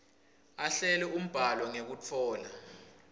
ahlele umbhalo ngekutfola